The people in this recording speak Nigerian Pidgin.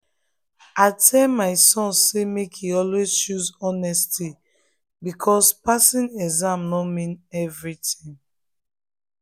i tell my son say make e always choose honesty because passing exam no mean everything.